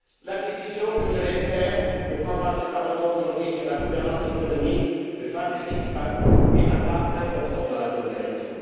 La décision que je l'espère ce Parlement prendra aujourd'hui sur la gouvernance économique, le fameux six pack est un pas important dans la bonne direction.